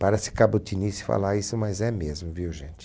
Parece cabotinice falar isso, mas é mesmo, viu, gente?